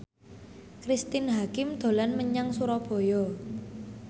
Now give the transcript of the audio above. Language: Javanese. Cristine Hakim dolan menyang Surabaya